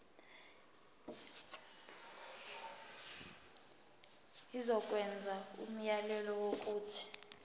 izokwenza umyalelo wokuthi